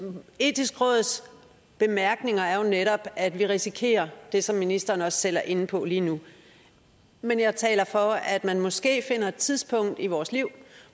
etiske råds bemærkninger er jo netop at vi risikerer det som ministeren også selv er inde på lige nu men jeg taler for at man måske finder et tidspunkt i vores liv